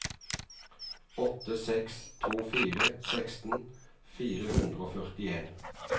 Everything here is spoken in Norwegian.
åtte seks to fire seksten fire hundre og førtien